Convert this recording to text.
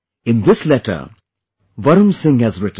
In this letter Varun Singh has written